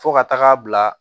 Fo ka taga bila